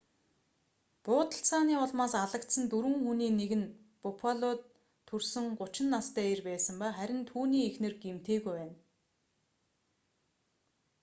буудалцааны улмаас алагдсан дөрвөн хүний нэг нь буффалод төрсөн 30 настай эр байсан ба харин түүний эхнэр гэмтээгүй байна